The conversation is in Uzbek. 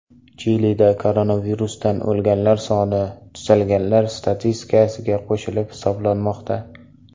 Chilida koronavirusdan o‘lganlar soni tuzalganlar statistikasiga qo‘shib hisoblanmoqda.